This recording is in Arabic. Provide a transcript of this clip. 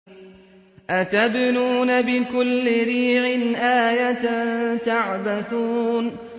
أَتَبْنُونَ بِكُلِّ رِيعٍ آيَةً تَعْبَثُونَ